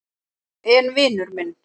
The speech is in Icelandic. En vinur minn.